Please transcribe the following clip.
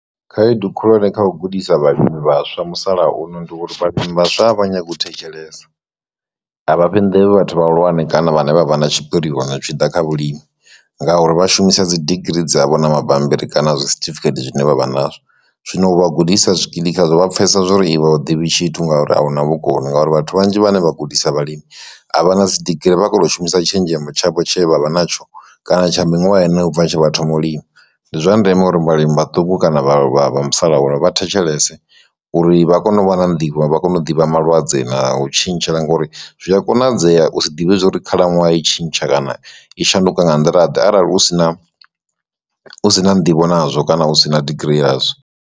Khaedu khulwane kha u gudisa vhalimi vhaswa musalauno ndi uri vhalimi a vha nyagi u thetshelesa, avha fhi nḓevhe vhathu vhahulwane kana vhane vha vha na tshipirione zwi tshi ḓa kha vhulimi ngauri vha shumisa dzi digirii dzavho na mabambiri kana a zwi certificate zwine vha vha nazwo, zwino u vha gudisa zwikili khazwo vha pfesesa zwori iwe a u ḓivhi tshithu ngauri ahuna vhukoni ngauri vhathu vhanzhi vhane vha gudisa vhalimi avha na dzi digirii vha khoto shumisa tshenzhemo tshavho tshe vhavha natsho kana tsha miṅwaha u bva tsho vha thoma u lima, ndi zwa ndeme uri vhalimi vhaṱuku kana vha vha vha musalauno vhathetshelese uri vha kone u vha na nḓivho vha kone u ḓivha malwadze na u tshintshela ngori zwi a konadzea u si ḓivhe zwori khalaṅwaha i tshintsha kana i shanduka nga nḓila ḓe arali u sina u si na nḓivho nazwo kana u si na digirii yazwo.